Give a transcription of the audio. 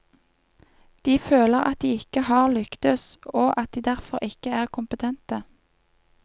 De føler at de ikke har lyktes, og at de derfor ikke er kompetente.